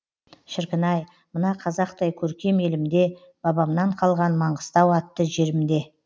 шіркін ай мына қазақтай көркем елімде бабамнан қалған маңғыстау атты жерімде